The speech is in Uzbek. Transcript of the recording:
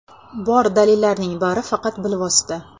Bor dalillarning bari faqat bilvosita.